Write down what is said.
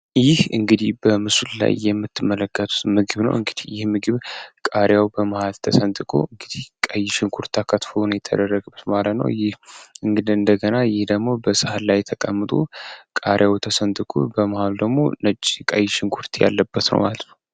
ይህ እንግዲህ በምሱል ላይ የምትመለከቱት ምግብ ነ እግይህምግብ ቃሪያው በማህል ተሰንጥቁ እንግዲህ ቀይሽን ኩርት አካትፎውን የተደረግብት ማለ ነው ይህ እንግድ እንደገና ይህ ደግሞ በሰሐል ላይ ተቀምጡ ቃሪያው ተሰንጥኩ በማሃሉ ደግሞ ነጭ ቃይሽን ኩርት ያለበት ነው አል።